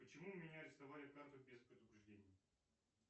почему у меня арестовали карту без предупреждения